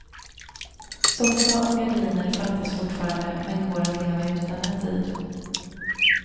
Soffa och gardiner fattas fortfarande men går att leva utan en tid.